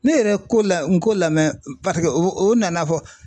Ne yɛrɛ ko la Nko lamɛ paseke o o nan'a fɔ